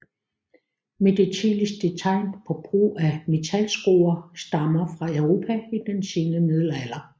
Men de tidligste tegn på brug af metalskruer stammer fra Europa i den sene middelalder